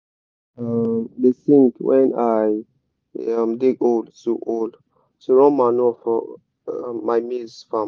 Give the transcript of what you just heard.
i um da sing wen i da um dig hole to hole to run manure for um my maize farm